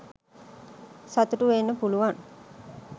සතුටු වෙන්න පුලුවන්